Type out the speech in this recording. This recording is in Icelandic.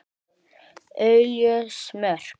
Óljós mörk.